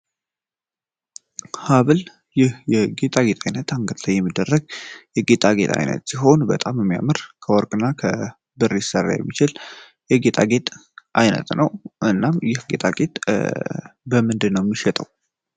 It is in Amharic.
ሀብል የጌጣ ጌጥ ዓይነት አንገት ላይ የሚደረግ የጌጣ ጌጥ አይነት ሲሆን በጣም የሚያምር ከወርቅ እና ከብሪ ይስሰራ የሚችል የጌጣ ጌጥ ዓይነት ነው እናም ይህ ጌጣ ጌጥ በምንድ ነው ሚሸጠው